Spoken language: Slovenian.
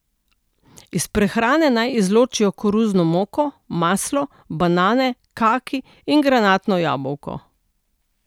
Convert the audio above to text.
Iz prehrane naj izločijo koruzno moko, maslo, banane, kaki in granatno jabolko.